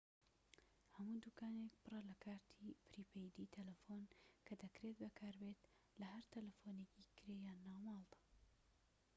هەموو دوکانێك پڕە لە کارتی پریپەیدی تەلەفۆن کە دەکرێت بەکاربێت لە هەر تەلەفۆنێکی کرێ یان ناوماڵدا